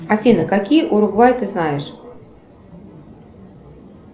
афина какие уругвай ты знаешь